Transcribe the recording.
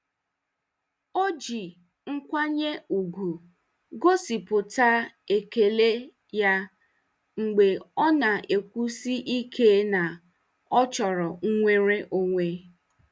O ji nkwanye ùgwù gosipụta ekele ya mgbe ọ na-ekwusi ike na ọ chọrọ nnwere onwe.